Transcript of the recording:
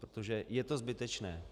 Protože je to zbytečné.